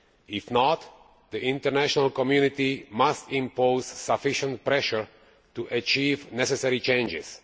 If not, the international community must impose sufficient pressure to achieve the necessary changes.